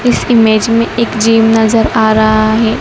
इस इमेज में एक जिम नजर आ रहा है।